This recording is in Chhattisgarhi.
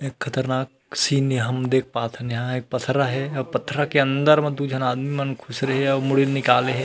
एक खतरनाक सीन हम देख पाथन यहाँ पथरा हे अउ पथरा के अंदर म दु झन आदमी मन खुसरे हे अउ मुड़ी ल निकाले हे।